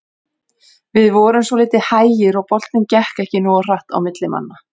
Við vorum svolítið hægir og boltinn gekk ekki nógu hratt á milli manna.